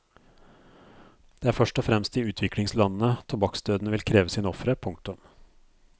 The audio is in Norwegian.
Det er først og fremst i utviklingslandene tobakksdøden vil kreve sine ofre. punktum